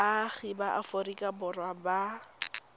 baagi ba aforika borwa ba